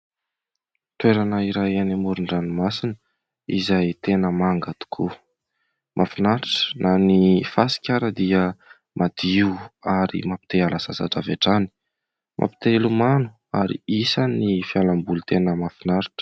toerana iray any amoron-dranomasina izay tena manga tokoa; mahafinaritra ,na ny fasika ara dia madio ary mampi-te hiala sasatra avy hatrany, mampi-te hilomano ary isan'ny fialamboly tena mahafinaritra